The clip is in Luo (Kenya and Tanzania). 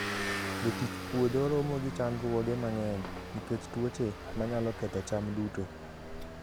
Jotich puodho romo gi chandruoge mang'eny nikech tuoche manyalo ketho cham duto.